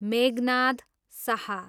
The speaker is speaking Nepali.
मेघनाद साह